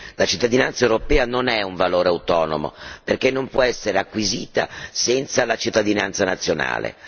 La cittadinanza europea non è un valore autonomo, perché non può essere acquisita senza la cittadinanza nazionale.